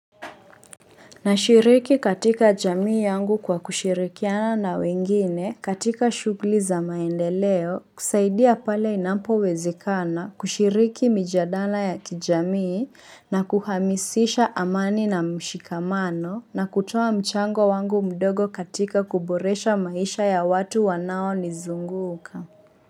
Nashiriki katika jamii yangu kwa kushirikiana na wengine katika shughuli za maendeleo kusaidia pale inampo wezakana kushiriki mijadala ya kijamii na kuhamisisha amani na mshikamano na kutoa mchango wangu mdogo katika kuboresha maisha ya watu wanao nizunguka.